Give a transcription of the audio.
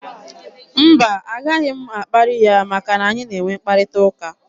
Mba, a gaghị m akparị ya maka na anyị na-enwe mkparịta ụka.